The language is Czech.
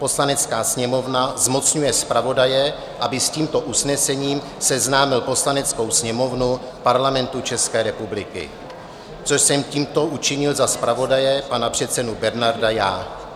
Poslanecká sněmovna zmocňuje zpravodaje, aby s tímto usnesením seznámil Poslaneckou sněmovnu Parlamentu České republiky" - což jsem tímto učinil za zpravodaje, pana předsedu Bernarda, já.